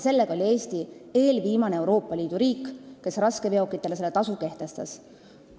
Eesti oli eelviimane Euroopa Liidu riik, kes raskeveokitele selle tasu kehtestas.